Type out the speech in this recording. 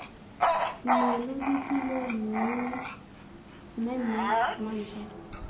ne lo dikile mmemme mantšwa